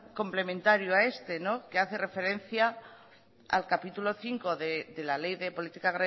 complementario a este que hace referencia al capítulo quinto de la ley de política